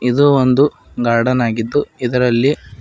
ಇದು ಒಂದು ಗಾರ್ಡನ್ ಆಗಿದ್ದು ಇದರಲ್ಲಿ--